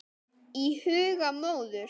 Í huga móður